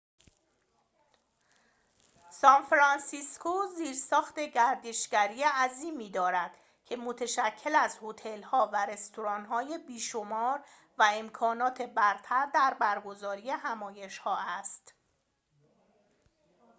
سان‌فرانسیسکو زیرساخت گردشگری عظیمی دارد که متشکل از هتل‌ها و رستوران‌های بی‌شمار و امکانات برتر در برگزاری همایش‌ها است